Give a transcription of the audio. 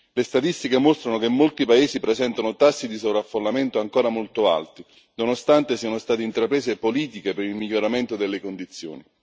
Le statistiche mostrano che molti paesi presentano tassi di sovraffollamento ancora molto alti, nonostante siano state intraprese politiche per il miglioramento delle condizioni.